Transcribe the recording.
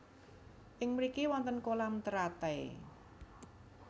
Ing mriki wonten kolam teratai